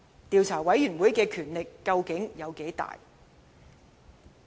調查委員會的權力究竟有多大？